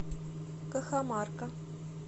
кахамарка